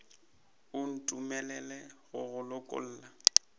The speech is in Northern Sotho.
o ntumelele go go lokolla